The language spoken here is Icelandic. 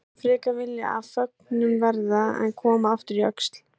Sagðist hann frekar vilja af föggunum verða en koma aftur í Öxl.